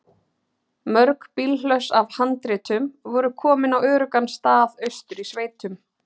Mörg bílhlöss af handritum voru komin á öruggan stað austur í sveitum.